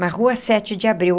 Na Rua Sete de Abril.